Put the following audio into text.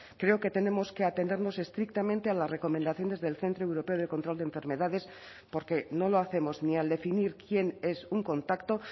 creo que tenemos que atenernos estrictamente a las recomendaciones del centro europeo de control de enfermedades porque no lo hacemos ni al definir quién es un contacto